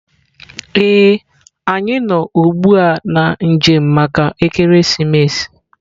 Ee, anyị nọ ugbu a na njem maka ekeresimesi.